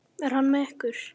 Er hann með ykkur?